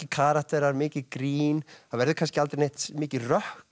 karakterar mikið grín það verður kannski aldrei mikið